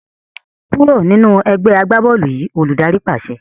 Kúrò nínú ẹgbẹ́ agbá-bọ́ọ́lù yìí! Olùdarí pàṣẹ.